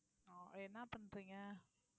அஹ் என்ன பண்றீங்க